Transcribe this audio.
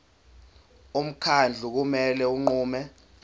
umkhandlu kumele unqume